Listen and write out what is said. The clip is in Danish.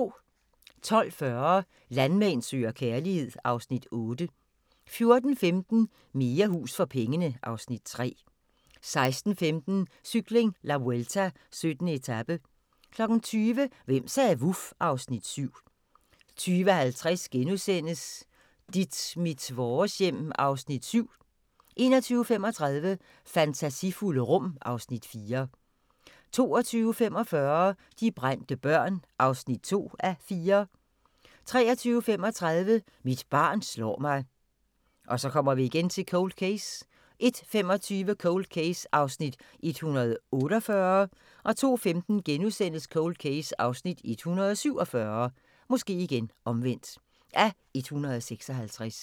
12:40: Landmand søger kærlighed (Afs. 8) 14:15: Mere hus for pengene (Afs. 3) 16:15: Cykling: La Vuelta - 17. etape 20:00: Hvem sagde vuf? (Afs. 7) 20:50: Dit mit vores hjem (Afs. 7)* 21:35: Fantasifulde rum (Afs. 4) 22:45: De brændte børn (2:4) 23:35: Mit barn slår mig 01:25: Cold Case (148:156) 02:15: Cold Case (147:156)*